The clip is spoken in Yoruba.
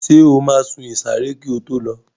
Ṣé o máa sun ìsàré kí o tó lọ?